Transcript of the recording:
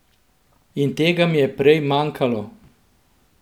In tega mi je prej manjkalo.